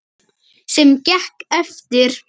Sem gekk eftir.